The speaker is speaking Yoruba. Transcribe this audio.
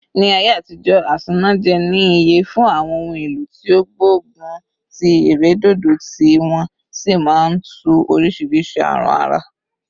Ni aye atijo, asanaje ni iye fun awon ohun elo ti o gbogun ti iredodo, ti won si maa n tu orisiirisii arun ara